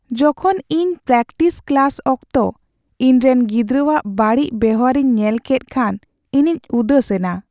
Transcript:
ᱡᱚᱠᱷᱚᱱ ᱤᱧ practice class ᱚᱠᱛᱚ ᱤᱧ ᱨᱮᱱ ᱜᱤᱫᱽᱨᱟᱹᱣᱟᱜ ᱵᱟᱹᱲᱤᱡ ᱵᱮᱣᱦᱟᱨ ᱤᱧ ᱧᱮᱞ ᱠᱮᱫ ᱠᱷᱟᱱ ᱤᱧᱤᱧ ᱩᱫᱮᱥᱮᱱᱟ ᱾